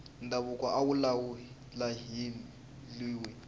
ndhavuko a wu lahliwi